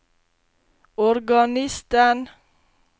organisten